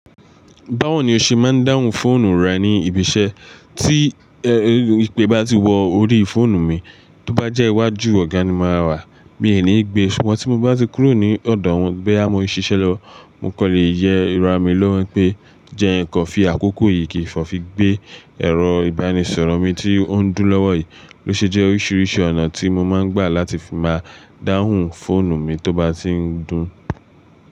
Báwo ni o ṣe máa ń dáhùn fóònù rẹ ní ibi iṣẹ́ tí ìpè bá ti wọ orí fóònù mi, tó bá jẹ́ iwájú ọ̀gá ni máa wà, mi ò ní gbé e, ṣùgbọ́n tí mo bá ti kúrò ní ọ̀dọ̀ wọn gbẹ́ àmọ́ ṣiṣẹ́ lọ, mo kọ́ lè yẹ irun mi lọ́wọ́ pé, jẹ ẹ́ kọ́ fi àkókò yìí kí ìfọ̀ fi gbé ẹ̀rọ ìbánisọ̀rọ̀ mi tí ó ń dúró lọ́wọ́ yìí. Lo ṣe jẹ́ oríṣiríṣi ọ̀nà tí mo máa ń gbà láti fi máa dáhùn fóònù mi tó bá ti ń dún.